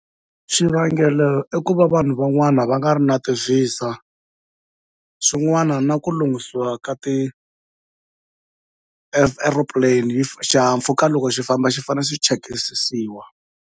Xivangelo i ku va vanhu van'wana va nga ri na ti Visa, swin'wana na ku lunghisiwa ka ti-earoplane, xihahampfhuka loko xi famba xi fanele xi chekisisiwa.